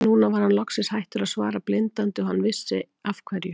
Nú var hann loksins hættur að svara blindandi og hann vissi af hverju.